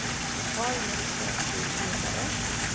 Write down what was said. Har lätt för att bli ledare.